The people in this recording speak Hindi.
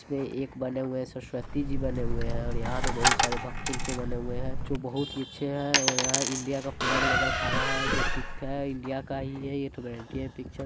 जिसमें एक बने हुए है सरस्वती जी बने हुए है और यहाँ पे बहुत सारे भक्त उनके बने हुए है जो बहुत ही अच्छे है और यहाँ इंडिया का फ्लैग लेकर खड़ा है जो ठीक है इंडिया का ही है ये तो गारंटी है पीछे --